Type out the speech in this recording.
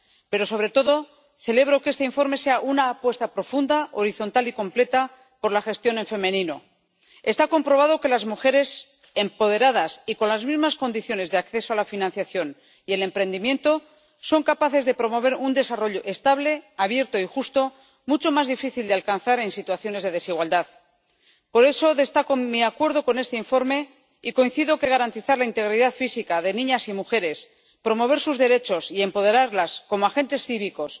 Pero, sobre todo, celebro que este informe sea una apuesta profunda, horizontal y completa por la gestión en femenino. Está comprobado que las mujeres empoderadas y con las mismas condiciones de acceso a la financiación y el emprendimiento son capaces de promover un desarrollo estable, abierto y justo mucho más difícil de alcanzar en situaciones de desigualdad. Por eso, destaco mi acuerdo con este informe y coincido en que garantizar la integridad física de niñas y mujeres, promover sus derechos y empoderarlas como agentes cívicos,